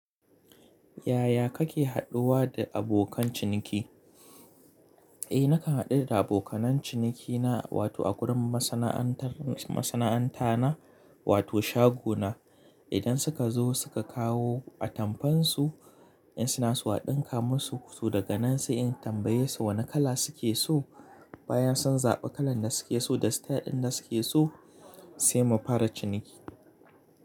Yaya kake haɗuwa da abokan ciniki? Eh nakan haɗu da abokan ciniki na, wato a gurin masana'antar, masana'anta na wato shago na. Idan suka zo suka kawo atamfan su, in suna zuwa ɗinka musu, so daga nan sai in tambaye su wane kala suke so. Bayan sun zaɓi kalar da suke so da style ɗin da suke so sai mu fara ciniki.